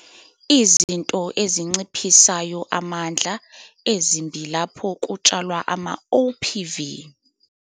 Izinto ezinciphisayo amandla - ezimbi lapho kutshalwa amaOPV.